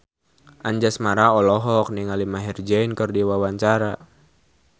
Anjasmara olohok ningali Maher Zein keur diwawancara